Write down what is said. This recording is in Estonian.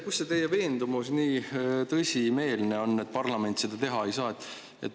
Kust teil tuleb nii tõsimeelne veendumus, et parlament seda teha ei saa?